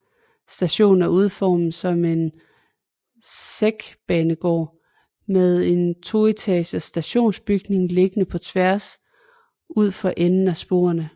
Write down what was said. Stationen er udformet som en sækbanegård med den toetages stationsbygning liggende på tvær udfor enden af sporene